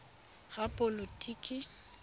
repaboliki